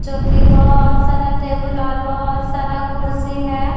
जो की बहोत सारा टेबल और बहोत सारा कुर्सी है।